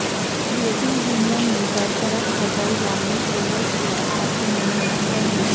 یورپی یونین نے برطرف صدر یانوکووچ کے اثاثے منجمد کردیے